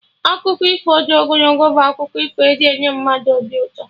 Akụkọ ifo dị ogologo bụ akụkọ e ji enye mmadụ obi ụtọ